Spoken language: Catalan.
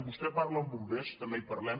vostè parla amb bombers també hi parlem